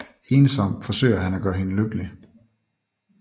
Ensomt forsøger han at gøre hende lykkelig